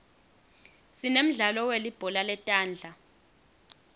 sinemdlalo welibhola letandla